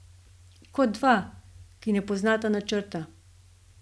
Kot dva, ki ne poznata načrta.